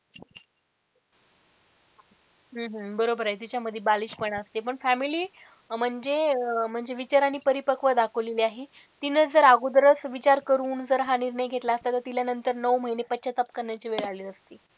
हम्म हम्म बरोबर आहे तिच्यामध्ये बालिशपणा असते पण family म्हणजे म्हणजे विचाराने परिपकव दाखवलेली आहे तिने जर अगोदरच विचार करून जर हा निर्णय घेतला असता तर तिला नंतर नऊ महिने पश्चाताप करण्याची वेळ आली नसती.